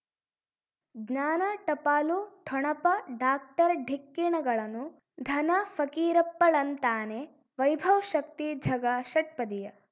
ಜ್ಞಾನ ಟಪಾಲು ಠೊಣಪ ಡಾಕ್ಟರ್ ಢಿಕ್ಕಿ ಣಗಳನು ಧನ ಫಕೀರಪ್ಪ ಳಂತಾನೆ ವೈಭವ್ ಶಕ್ತಿ ಝಗಾ ಷಟ್ಪದಿಯ